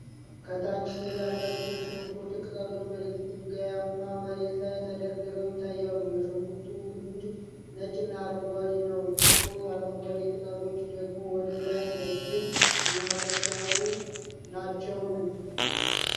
ከታች ሥር ያላቸው የሽንኩርት ቅጠሎች በድንጋያማ መሬት ላይ ተደርድረው ይታያሉ። የሽንኩርቱ ግንድ ነጭና አረንጓዴ ነው። ጥቁር አረንጓዴ ቅጠሎቹ ደግሞ ወደ ላይ ረዥም እና ቀጥ ያሉ ናቸውን?